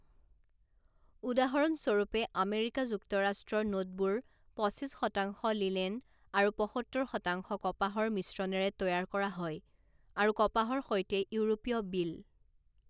উদাহৰণ স্বৰূপে, আমেৰিকা যুক্তৰাষ্ট্ৰৰ নোটবোৰ পঁচিছ শতাংশ লিনেন আৰু পঁসত্তৰ শতাংশ কপাহৰ মিশ্ৰণেৰে তৈয়াৰ কৰা হয়, আৰু কপাহৰ সৈতে ইউৰোপীয় বিল।